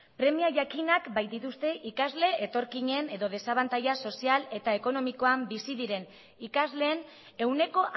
premia jakinak baitituzte ikasle etorkinen edo desabantaila sozial eta ekonomikoa bizi diren ikasleen ehuneko